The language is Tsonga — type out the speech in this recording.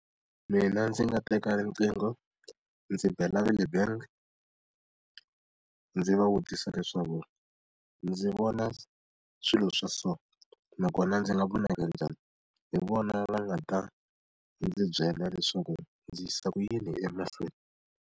Mina ndzi nga teka riqingho ndzi bela va le bangi, ndzi va vutisa leswaku ndzi vona swilo swa so, nakona ndzi nga vonaka njhani? Hi vona va nga ta ndzi byela leswaku ndzi yisa ku yini emahlweni.